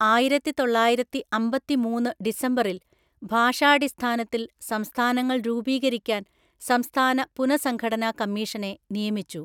ആയിരത്തിതൊള്ളായിരത്തിഅമ്പത്തിമൂന്ന് ഡിസംബറിൽ ഭാഷാടിസ്ഥാനത്തിൽ സംസ്ഥാനങ്ങൾ രൂപീകരിക്കാൻ സംസ്ഥാന പുനഃസംഘടനാ കമ്മീഷനെ നിയമിച്ചു.